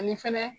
Ani fɛnɛ